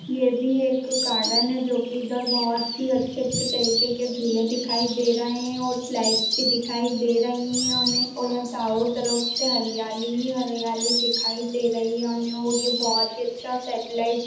ये भी एक गार्डन है जो की इधर बहुत ही अच्छे-अच्छे तरीके के झूले दिखाई दे रहें हैं और स्लाइड्स भी दिखाई दे रहीं हैं हमेऔर हमे चारों तरफ से हरियाली ही हरियाली दिखाई दे रही है हमे और ये बहुत ही अच्छा सॅटॅलाइट --।